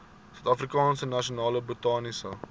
suidafrikaanse nasionale botaniese